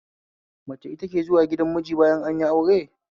Mace ita ke zuwa gidan miji bayan anyi aure